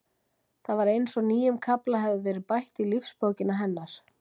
Það var eins og nýjum kafla hefði verið bætt í lífsbókina hennar.